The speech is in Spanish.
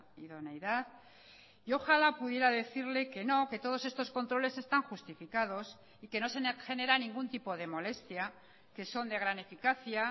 idoneidad y ojalá pudiera decirle que no que todos estos controles están justificados y que no se genera ningún tipo de molestia que son de gran eficacia